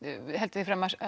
heldur því fram að